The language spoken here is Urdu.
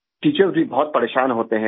ٹیچر بھی پریشان ہوتے ہیں